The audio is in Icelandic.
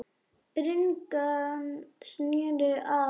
Bringan sneri að hafi.